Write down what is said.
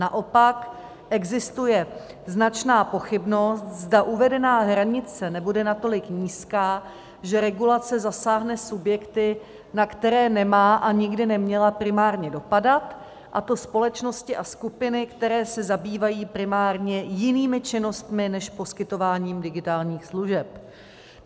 Naopak existuje značná pochybnost, zda uvedená hranice nebude natolik nízká, že regulace zasáhne subjekty, na které nemá a nikdy neměla primárně dopadat, a to společnosti a skupiny, které se zabývají primárně jinými činnostmi než poskytováním digitálních služeb.